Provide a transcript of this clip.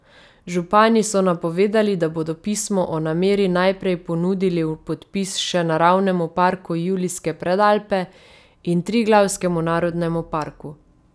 Župani so napovedali, da bodo pismo o nameri najprej ponudili v podpis še Naravnemu parku Julijske Predalpe in Triglavskemu narodnemu parku.